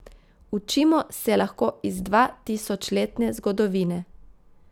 Učimo se lahko iz dvatisočletne zgodovine.